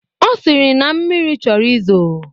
Ọ sịrị na mmiri chọrọ izo